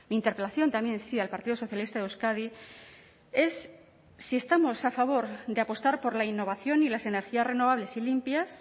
interpelación también sí al partido socialista de euskadi es si estamos a favor de apostar por la innovación y las energías renovables y limpias